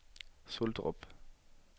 Suldrup